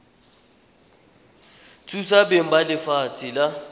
thusa beng ba lefatshe la